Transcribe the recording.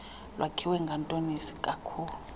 lwakhiwe ngantoni isikakhulu